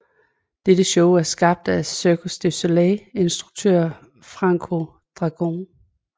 Dette show er skabt af Cirque du Soleil instruktøren Franco Dragone